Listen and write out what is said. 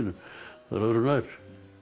öðru nær